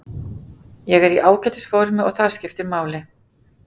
Ég er í ágætis formi og það skiptir máli.